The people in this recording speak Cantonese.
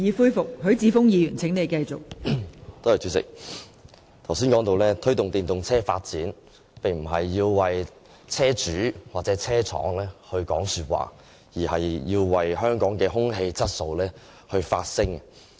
代理主席，我剛才談到推動電動車發展，並非要為車主或車廠說話，而是為香港的空氣質素發聲。